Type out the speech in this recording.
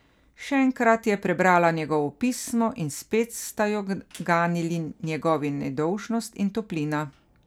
Še enkrat je prebrala njegovo pismo in spet sta jo ganili njegovi nedolžnost in toplina.